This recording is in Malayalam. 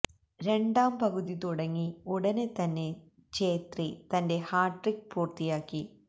രണ്ടാം പകുതി തുടങ്ങി ഉടനെ തന്നെ ഛ്രേത്രി തന്റെ ഹാട്രിക് പൂര്ത്തിയാക്കി